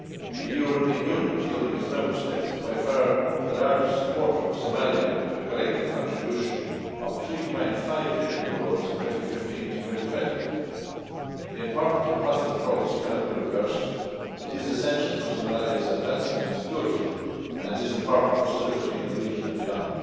The European Union, including its Member States, is by far the largest supporter of Somalia, with a collective contribution of EUR 3.5 billion in 2015 to 2020. The important and positive progress cannot be reversed. It is essential for Somalia's advancement and security, and it is important for stability in the region and beyond.